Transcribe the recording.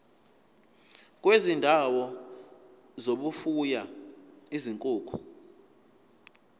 kwezindawo zokufuya izinkukhu